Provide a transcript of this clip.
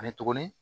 Ani tuguni